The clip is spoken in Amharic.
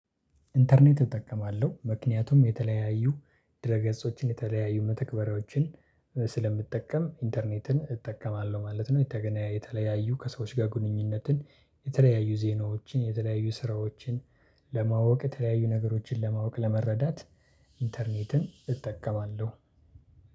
ኢንተርኔት እጠቀማለሁ ምክንያቱም የተለያዩ ድረ ገጾችን የተለያዩ መተግበሪያዎችን ስለምጠቀም ኢንተርኔትን እጠቀማለሁ ማለት ነው። የተገናኘ የተለያዩ ከሰዎች ጋር ግንኙነትን የተለያዩ ዜናዎችን የተለያዩ ስራዎችን ለማወቅ የተለያዩ ነገሮችን ለማወቅ ለመረዳት ኢንተርኔትን እጠቀማለሁ።